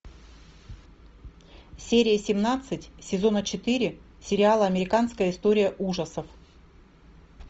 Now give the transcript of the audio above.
серия семнадцать сезона четыре сериала американская история ужасов